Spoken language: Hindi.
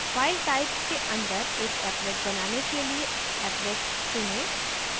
file types के अंदर एक applet बनाने के लिए applet चुनें